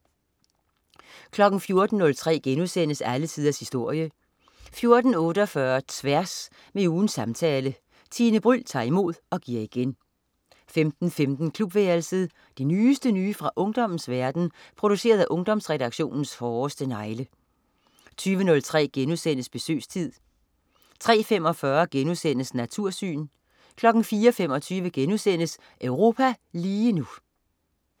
14.03 Alle tiders historie* 14.48 Tværs. Med ugens samtale. Tine Bryld tager imod og giver igen 15.15 Klubværelset. Det nyeste nye fra ungdommens verden, produceret af Ungdomsredaktionens hårdeste negle 20.03 Besøgstid* 03.45 Natursyn* 04.25 Europa lige nu*